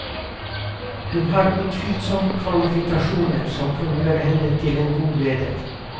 Hun har utilsomt kvalifikasjoner som kan gjøre henne til en god leder.